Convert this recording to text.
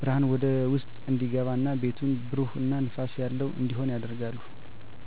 ብርሃን ወደ ውስጥ እንዲገባ እና ቤቱን ብሩህ እና ንፋስ ያለው እንዲሆን ያደርጋሉ።